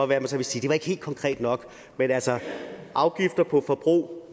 være man så vil sige det var ikke helt konkret nok men altså afgifter på forbrug